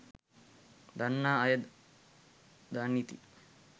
දන්නා අය දනිති